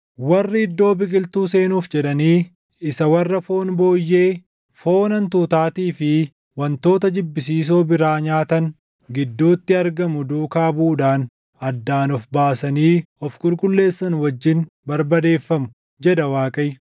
“Warri iddoo biqiltuu seenuuf jedhanii, isa warra foon booyyee, foon hantuutaatii fi wantoota jibbisiisoo biraa nyaatan gidduutti argamu duukaa buʼuudhaan addaan of baasanii of qulqulleessan wajjin barbadeeffamu” jedha Waaqayyo.